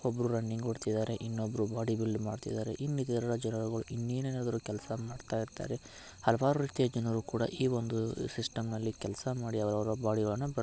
ಒಬ್ರು ರನ್ನಿಂಗ್ ಓಡ್ತಿದಾರೆ ಇನ್ನೊಬ್ರು ಬಾಡಿ ಬಿಲ್ಡ್ ಮಾಡ್ತಿದ್ದಾರೆ. ಇನ್ನಿತರ ಜನಗಳು ಇನ್ನೇನ್ಆದರೂ ಕೆಲ್ಸ ಮಾಡ್ತಾ ಇರತಾರೆ. ಹಲವಾರು ರೀತಿಯ ಜನರು ಕೂಡ ಈ ಒಂದು ಸಿಸ್ಟಮ್ ಲ್ಲಿ ಕೆಲ್ಸ ಮಾಡಿ ಅವ್ರ್ ಅವರ ಬಾಡಿಗಳನ್ನ--